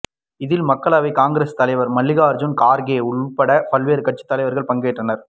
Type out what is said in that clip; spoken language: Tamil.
இதில் மக்களவை காங்கிரஸ் தலைவர் மல்லிகார்ஜுன கார்கே உள்பட பல்வேறு கட்சித் தலைவர்கள் பங்கேற்றனர்